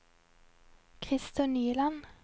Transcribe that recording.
Christer Nyland